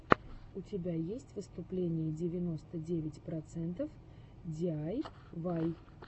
у тебя есть выступление девяносто девять процентов диайвай